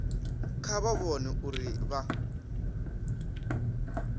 kha vha vhone uri vha